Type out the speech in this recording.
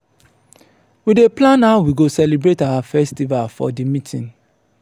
we dey plan how we go celebrate our festival for di meeting.